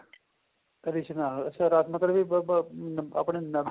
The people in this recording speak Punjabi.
ਰਿਸਣਾ ਫੇਰ ਆਪਣੇ ਕੋਲ ਵੀ ਅਹ ਆਪਣੇ